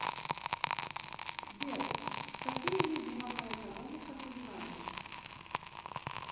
сбер какие виды макроэкономика ты знаешь